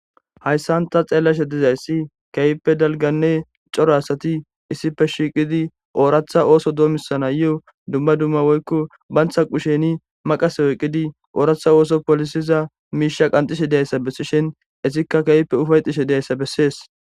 hayssan ta xeellashe dizayssi keeyippe dalganne coro asati issife shiiqidi ooratha ooso doomisana yeho dumma dumma woykko bantha qusheni maqas woyqidi ooratha ooso polisiza miisha qanxishe deyayssa bessishin issikka keeyppe ufayxishe deyayssa bessees